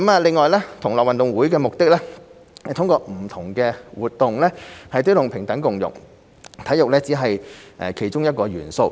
另外，同樂運動會的目的是通過不同的活動推動平等共融，體育只是其中一項元素。